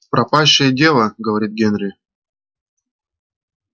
пропащее дело говорит генри